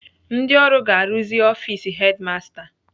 Ndị ọrụ ga-arụzi ọfis hedimasta